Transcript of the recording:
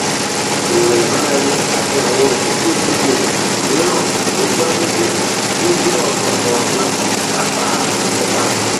eré ìmárale àti àwọn ìgbòkègbodò mìíràn tó gbámúṣé tún jẹ ọnà kan láti kápá ìfúnpá